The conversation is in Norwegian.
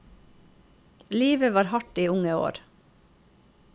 Livet var hardt i unge år.